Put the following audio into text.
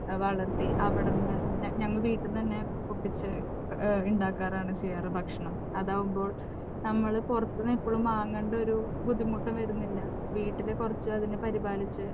വളർത്തി അവിടെ ഞങ്ങൾ വീട്ടിൽ നിന്ന് തന്നെ പൊട്ടിച്ച് ഉണ്ടാക്കാറാണ് ചെയ്യാറ് ഭക്ഷണം. അതാകുമ്പോൾ നമ്മൾ പുറത്തുനിന്ന് എപ്പോഴും വാങ്ങേണ്ട ഒരു ബുദ്ധിമുട്ടും വരുന്നില്ല, വീട്ടിൽ കുറച്ച് അതിനെ പരിപാലിച്ച്